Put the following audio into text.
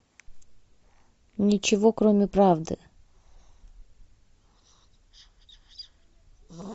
ничего кроме правды